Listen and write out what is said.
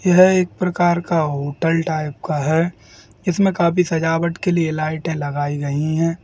यह एक प्रकार का होटल टाइप का है | इसमें काफी सजावट के लिए लाइटे लगाई गयी हैं।